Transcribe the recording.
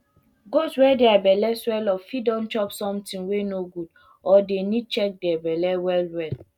goat wey dere belle swell up fit don chop sometin wey no good or dey need check di belle well well